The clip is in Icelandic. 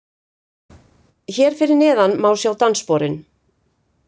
Hér fyrir neðan má sjá danssporin